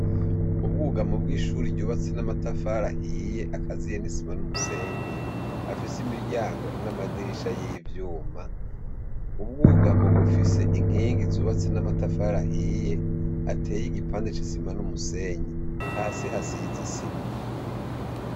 Ubwugamu bw'ishuri ryubatse n'amatafari ahiye akaziye n'isima n'umusenyi afise imiryango n'amadirisha y'ivyuma ubwugamu bufise inkingi zubatse n'amatafari ahiye ateye igipande c'isima n'umusenyi hasi hasizisima.